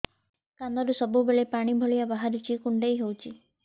କାନରୁ ସବୁବେଳେ ପାଣି ଭଳିଆ ବାହାରୁଚି କୁଣ୍ଡେଇ ହଉଚି